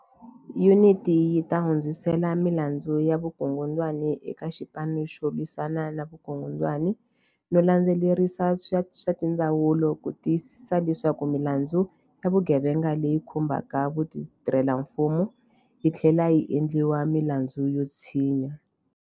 Yuniti yi ta hundzisela milandzu ya vukungundwani eka Xipanu xo Lwisana ni Vukungundwani no landze lerisa ni tindzawulo ku ti yisisa leswaku milandzu ya vugevenga leyi khumbaka vatirhelamfumo yi tlhlela yi endliwa milandzu yo tshinya.